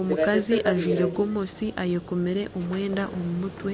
Omukazi ajwire gomesi ayekomire omwenda omumutwe.